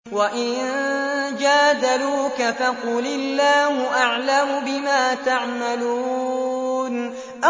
وَإِن جَادَلُوكَ فَقُلِ اللَّهُ أَعْلَمُ بِمَا تَعْمَلُونَ